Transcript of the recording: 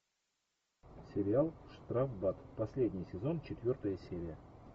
сериал штрафбат последний сезон четвертая серия